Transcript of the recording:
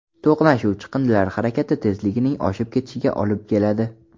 To‘qnashuv chiqindilar harakati tezligining oshib ketishiga olib keladi.